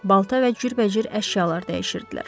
Balta və cürbəcür əşyalar dəyişirdilər.